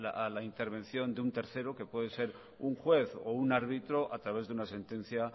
una intervención de un tercero que puede ser un juez o un árbitro a través de una sentencia